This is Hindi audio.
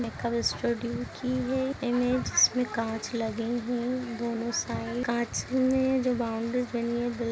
मेकअप स्टूडियो की है इमेज इसमें काँच लगी हैं दोनों साइड काँच में जो बाउंड्री बनी है --